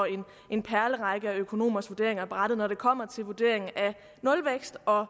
en perlerække af økonomers vurderinger ned ad brættet når det kommer til vurderingen af nulvækst og